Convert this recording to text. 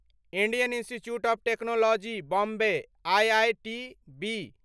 Indian Institute of Technology Bombay IITB